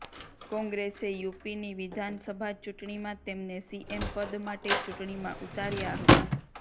કોંગ્રેસે યુપીની વિધાનસભા ચૂંટણીમાં તેમને સીએમ પદ માટે ચૂંટણીમાં ઊતાર્યા હતા